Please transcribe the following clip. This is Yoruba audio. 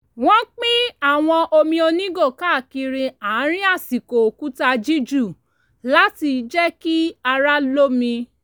wọ́n pín àwọn omi onígò káàkiri àárín àsìkò òkúta jíjù láti jẹ́ kí ara lómi